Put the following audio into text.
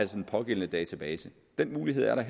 den pågældende database den mulighed er der